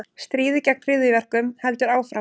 Stríðið gegn hryðjuverkum heldur áfram